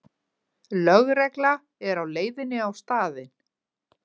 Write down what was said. Lögregla er á leiðinni á staðinn